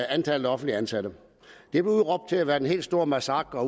antallet af offentligt ansatte det blev udråbt til at være den helt store massakre